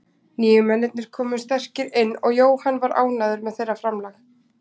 Nýju mennirnir komu sterkir inn og Jóhann var ánægður með þeirra framlag.